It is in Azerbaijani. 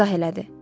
İzah elədi.